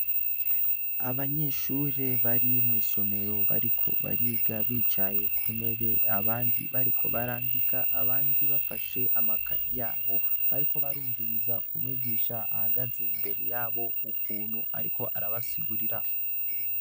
Abanyeshure bari mw'isomero bariko bariga bicaye kuntebe abandi bariko barandika abandi bafashe amakaye yabo bariko barumviriza umwigisha ahagaze imbere yabo ukuntu ariko arabasigurira.